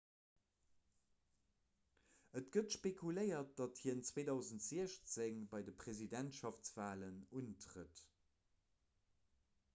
et gëtt spekuléiert datt hien 2016 bei de presidentschaftswalen untrëtt